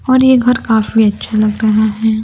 और ये घर काफी अच्छा लग रहा है।